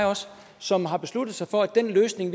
som har besluttet sig for at den løsning